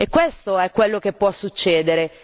Questo è quello che può succedere.